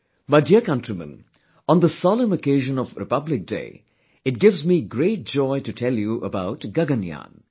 My dear countrymen, on the solemn occasion of Republic Day, it gives me great joy to tell you about 'Gaganyaan'